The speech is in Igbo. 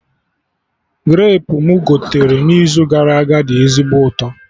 Grapu mụ gotere n'izu gara aga dị ezigbo ụtọ